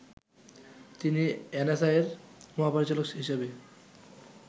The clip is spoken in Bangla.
তিনি এনএসআই’র মহাপরিচালক হিসেবে